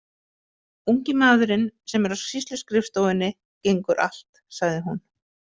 Ungi maðurinn sem er á sýsluskrifstofunni gengur allt, sagði hún.